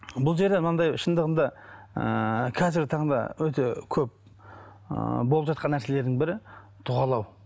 бұл жерде мынандай шындығында ыыы қазіргі таңда өте көп ыыы болып жатқан нәрселердің бірі дұғалау